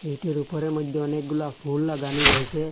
গেটের উপরের মধ্যে অনেকগুলা ফুল লাগানো রয়েসে।